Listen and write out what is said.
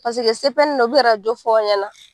u bɛ arajo jo fɔ aw ɲɛna